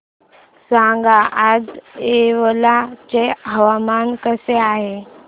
सांगा आज येवला चे हवामान कसे आहे